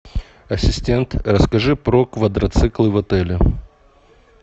ассистент расскажи про квадроциклы в отеле